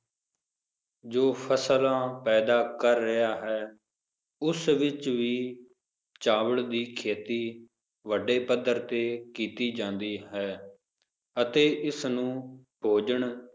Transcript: ਜੋ ਫਸਲਾਂ ਪੈਦਾ ਕਰ ਰਿਹਾ ਹੈ ਉਸ ਵਿਚ ਵੀ ਚਾਵਲ ਦੀ ਖੇਤੀ ਵੱਡੇ ਪੱਧਰ ਤੇ ਕੀਤੀ ਜਾਂਦੀ ਹੈ ਅਤੇ ਇਸ ਨੂੰ ਭੋਜਨ,